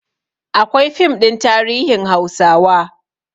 Akwai fim ɗin tarihin hausawa